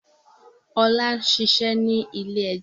Ọlá ń ṣiṣẹ́ ní ilé-ẹjọ́.